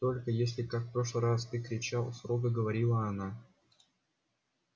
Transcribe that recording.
только если как в прошлый раз ты кричал строго говорила она